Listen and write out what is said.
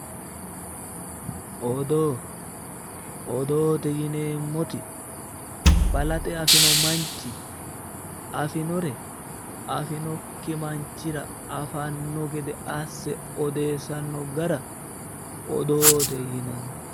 Odoo, odoote yinneemmoti balaxe afino manchi afinore afinokki manchira afano gede assa odeessano gara odoote yinnanni